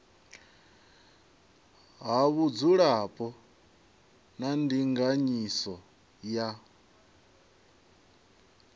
ha vhudzulapo na ndinganyiso ya